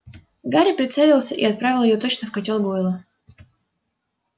гарри прицелился и отправил её точно в котёл гойла